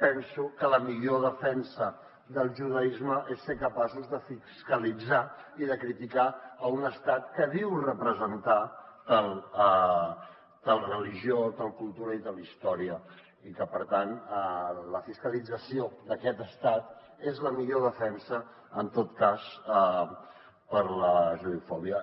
penso que la millor defensa del judaisme és ser capaços de fiscalitzar i de criticar un estat que diu representar tal religió tal cultura i tal història i que per tant la fiscalització d’aquest estat és la millor defensa en tot cas per a la judeofòbia